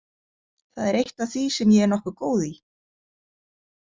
Það er eitt af því sem ég er nokkuð góð í.